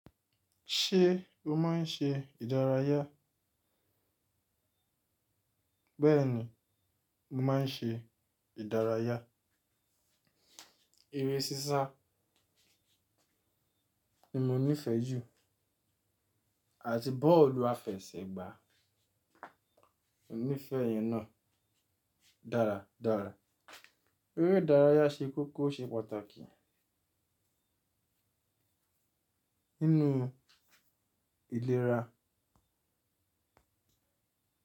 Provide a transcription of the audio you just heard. Ṣé o máa ń ṣe ìdárayá? Bẹ́ẹ̀ni, mo máa ń ṣe ìdárayá. Eré sísá ni mo nífẹ̀ẹ́ jù, àti bọ́ọ̀lù àfẹsẹ̀gbá. Mo nífẹ̀ẹ́ ìyẹn náà dáradára. Eré ìdárayá ṣe kókó ṣe pàtàkì nínú ìlera.